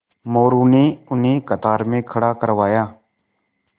मोरू ने उन्हें कतार में खड़ा करवाया